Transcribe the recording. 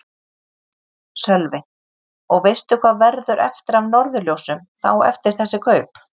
Sölvi: Og veistu hvað verður eftir af Norðurljósum þá eftir þessi kaup?